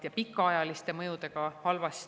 Need pikaajalised mõjud on väga halvad.